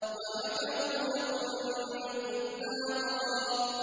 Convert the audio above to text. وَمَكَرُوا مَكْرًا كُبَّارًا